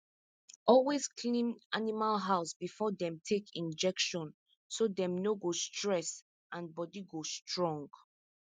always clean animal house before dem take injection so dem no go stress and body go strong